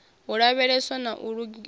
u lavheleswa na u lingiwa